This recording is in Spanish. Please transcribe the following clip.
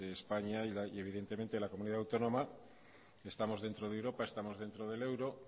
españa y evidentemente la comunidad autónoma estamos dentro de europa estamos dentro del euro